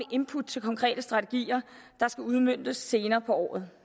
input til konkrete strategier der skal udmøntes senere på året